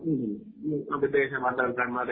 മ്മ്